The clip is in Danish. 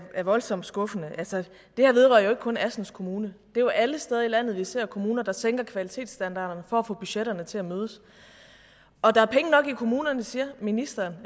er voldsomt skuffende altså det her vedrører ikke kun assens kommune det er jo alle steder i landet vi ser kommuner der sænker kvalitetsstandarderne for at få budgetterne til at mødes og der er penge nok i kommunerne siger ministeren